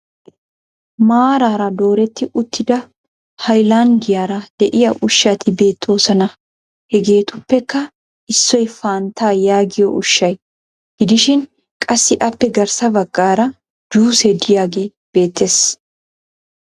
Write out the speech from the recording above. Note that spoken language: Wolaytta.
Maaraara dooretti uttida hayilanddiyaara de'iya ushshati beettoosona. Hegeetuppekka issoy fanttaa yaagiyo ushshay gidishin qassi aappe garssa baggaara juusee diyagee beettes.